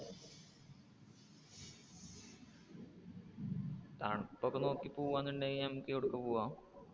തണുപ്പ് ഒക്കെ നോക്കി പോകുവാനുണ്ടെങ്കിൽ നമുക്ക് എവിടേക്ക് പോകാം.